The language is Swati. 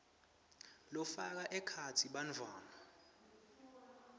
lafaka ekhatsi bantfwana